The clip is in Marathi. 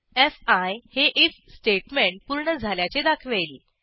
फी हे आयएफ स्टेटमेंट पूर्ण झाल्याचे दाखवेल